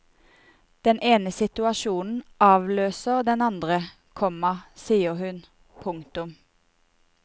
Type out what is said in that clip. Den ene situasjonen avløser den andre, komma sier hun. punktum